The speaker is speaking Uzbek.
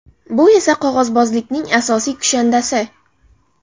Bu esa qog‘ozbozlikning asosiy kushandasi.